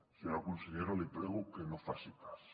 senyora consellera li prego que no en faci cas